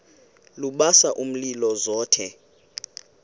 lubasa umlilo zothe